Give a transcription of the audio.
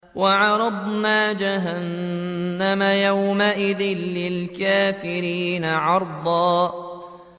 وَعَرَضْنَا جَهَنَّمَ يَوْمَئِذٍ لِّلْكَافِرِينَ عَرْضًا